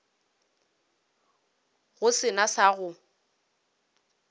go se na sa go